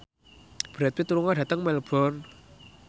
Brad Pitt lunga dhateng Melbourne